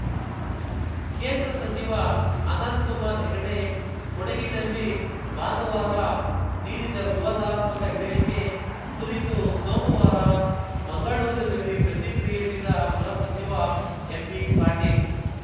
ಕೇಂದ್ರ ಸಚಿವ ಅನಂತ್ ಕುಮಾರ್‌ ಹೆಗಡೆ ಕೊಡಗಿನಲ್ಲಿ ಭಾನುವಾರ ನೀಡಿದ ವಿವಾದಾತ್ಮಕ ಹೇಳಿಕೆ ಕುರಿತು ಸೋಮುವಾರ ಮಂಗಳೂರಿನಲ್ಲಿ ಪ್ರತಿಕ್ರಿಯಿಸಿದ ಗೃಹ ಸಚಿವ ಎಂಬಿಪಾಟೀಲ್‌